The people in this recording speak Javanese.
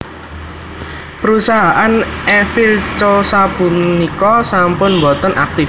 Perusahaan Eiffel Co sapunika sampun boten aktif